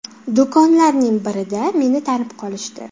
Do‘konlarning birida meni tanib qolishdi.